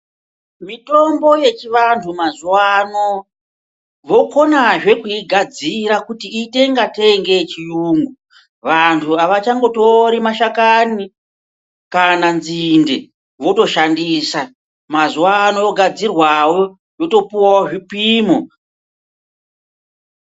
Mitombo yechivantu mazuwa ano vokanaZve kuigadzira kuti iite ingatei ngeyechiyungu Vantu avachangotori mashakani kana nzinde votoshandisa mazuwa ano yogadzirwawo yotopuwawo zvipimo.